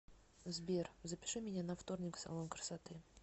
сбер запиши меня на вторник в салон красоты